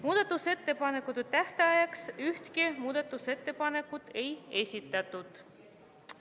Muudatusettepanekute tähtajaks ühtegi muudatusettepanekut ei esitatud.